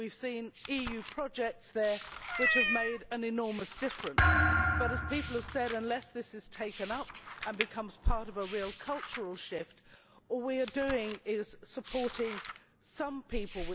We have seen EU projects there which have made an enormous difference but, as people have said, unless this is taken up and becomes part of a real cultural shift, all we are doing is supporting some people.